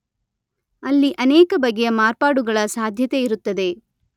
ಅಲ್ಲಿ ಅನೇಕ ಬಗೆಯ ಮಾರ್ಪಾಡುಗಳ ಸಾಧ್ಯತೆಯಿರುತ್ತದೆ